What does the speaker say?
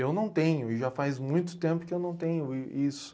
Eu não tenho, e já faz muito tempo que eu não tenho i isso.